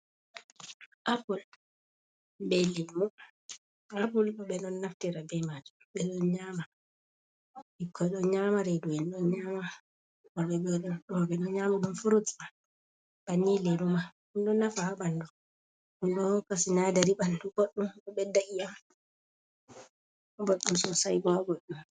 Apul on be ɗon naftira be maaju ɓikkoy ɗo nyaama reedue`n ɗon nyaama, ɗum furut man ba ni lelu ma ɗum do nafa haa ɓanndu nonnon bo ɗo hokka sinaadari ɓanndu boɗɗum, ɗo ɓedda iyam boɗɗum soosay bo boɗɗum.